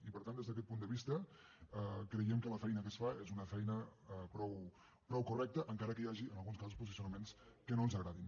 i per tant des d’aquest punt de vista creiem que la feina que es fa és una feina prou correcta encara que hi hagi en alguns casos posicionaments que no ens agradin